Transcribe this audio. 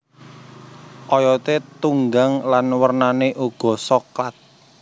Oyote tunggang lan wernane uga soklat